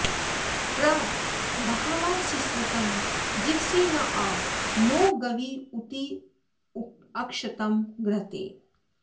प्र बा॒हवा॑ सिसृतं जी॒वसे॑ न॒ आ नो॒ गव्यू॑तिमुक्षतं घृ॒तेन॑